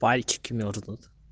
пальчики мёрзнут